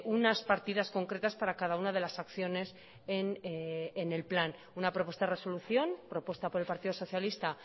unas partidas concretas para cada una de las acciones en el plan una propuesta de resolución propuesta por el partido socialista